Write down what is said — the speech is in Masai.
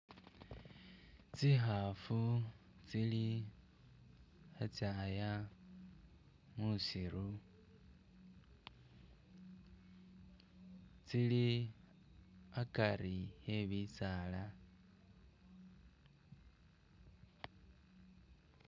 Tsihafu tsili hetsyaya musiru tsili akari e'bisaala